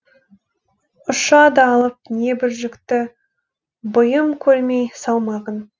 ұшады алып небір жүкті бұйым көрмей салмағын